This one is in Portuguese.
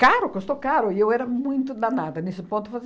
Caro, custou caro, e eu era muito danada nesse ponto.